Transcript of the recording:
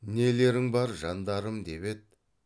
нелерің бар жандарым деп еді